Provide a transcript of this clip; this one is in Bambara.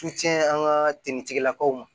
Su tiɲɛ an ka timitigilakaw ma